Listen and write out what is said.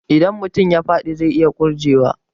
Idan mutum ya faɗi zai iya ƙurje wa